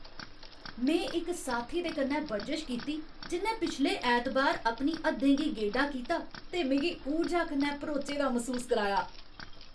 में इक साथी दे कन्नै बरजश कीती जि'न्नै पिछले ऐतबार अपनी हद्दें गी गेडा कीता ते मिगी ऊर्जा कन्नै भरोचे दा मसूस कराया।